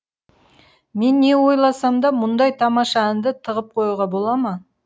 мен не ойласам да мұндай тамаша әнді тығып қоюға бола ма